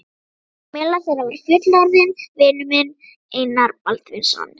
Meðal þeirra var fullorðinn vinur minn, Einar Baldvinsson.